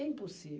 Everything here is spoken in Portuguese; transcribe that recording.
É